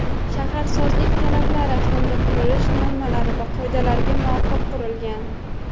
shaharsozlik talablari hamda qurilish normalari va qoidalariga muvofiq qurilgan.